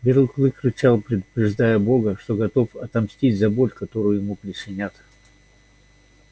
белый клык рычал предупреждая бога что готов отомстить за боль которую ему причинят